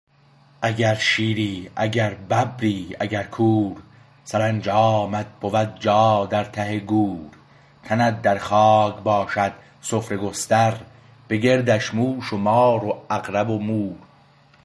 اگر شیری اگر ببری اگر گور سرانجامت بود جا در ته گور تنت در خاک باشد سفره گستر به گردش موش و مار و عقرب و مور